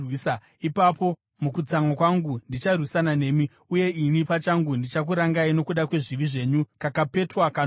ipapo mukutsamwa kwangu ndicharwisana nemi, uye ini pachangu ndichakurangai nokuda kwezvivi zvenyu kakapetwa kanomwe.